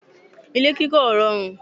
ilé kíkọ́ ò rọrùn